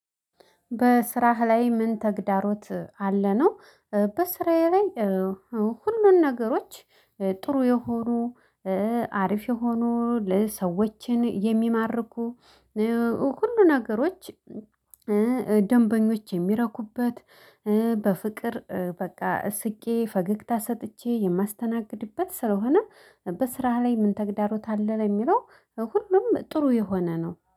በስራህ ላይ ምን ተግዳሮት አለ ነው? በስራየ ላይ ሁሉን ነገሮች ጥሩ የሆኑ አሪፍ የሆኑ ሰዎችን የሚማርኩ ሁሉ ነገሮች ደንበኞች የሚረኩበት በፍቅር በቃ ስቄ ፈገግታ ሰጥቼ የማስተናግድበት ስለሆነ። በስራህ ላይ ምን ተግዳሮት አለ ለሚለው? ሁሉም ጥሩ የሆነ ነው